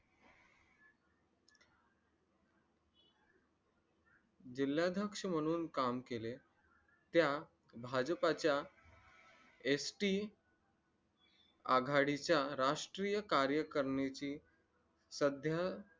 जिल्हाध्यक्ष म्हणून काम केले त्या भाजपाच्या ST आघाडीच्या राष्ट्रीय कार्यकारणीची सध्या